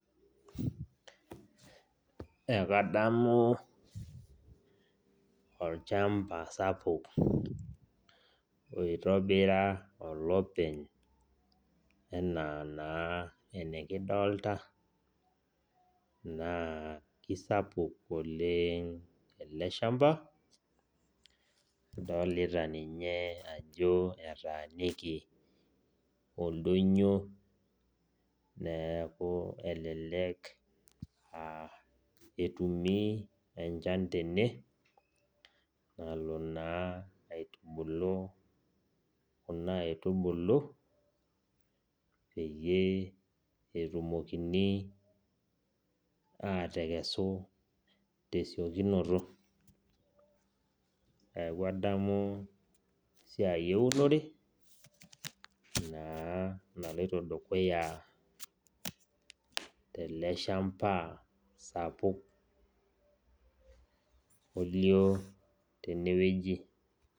Ekadamu olchamba sapuk, oitobira olopeny enaa naa enikidolta, naa kisapuk oleng ele shamba, adolita ninye ajo etaaniki oldonyo, eeku elelek ah etumi enchan tene, nalo naa aitubulu kuna aitubulu, peyie etumokini atekesu tesiokinoto. Neeku adamu esiai eunore, naa naloito dukuya tele shamba sapuk olio tenewueji.